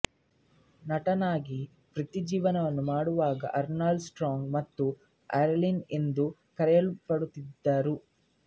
ನಟನಾಗಿ ವೃತ್ತಿಜೀವನ ಮಾಡುವಾಗ ಅರ್ನಾಲ್ಡ್ ಸ್ಟ್ರಾಂಗ್ ಮತ್ತು ಅರೈನ್ ಎಂದು ಕರೆಯಲ್ಪಡುತ್ತಿದ್ದರು